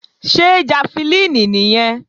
Ṣé jafẹlíìnì nìyẹn?